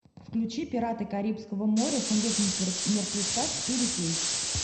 включи пираты карибского моря сундук мертвеца четыре кей